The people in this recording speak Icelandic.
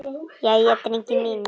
Jæja, drengir mínir!